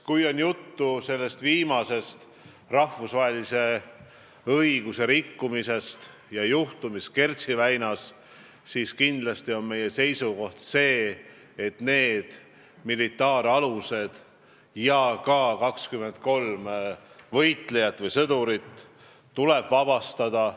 Kui jutt on sellest viimasest rahvusvahelise õiguse rikkumisest, juhtumist Kertši väinas, siis kindlasti on meie seisukoht see, et need militaaralused ja ka 23 võitlejat või sõdurit tuleb vabastada.